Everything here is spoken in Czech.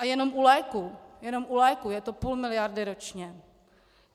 A jenom u léků - jenom u léků - je to půl miliardy ročně.